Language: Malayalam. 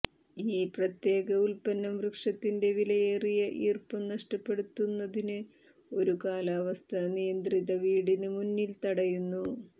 ഈ പ്രത്യേക ഉല്പന്നം വൃക്ഷത്തിന്റെ വിലയേറിയ ഈർപ്പം നഷ്ടപ്പെടുത്തുന്നതിന് ഒരു കാലാവസ്ഥാ നിയന്ത്രിത വീടിന് മുന്നിൽ തടയുന്നു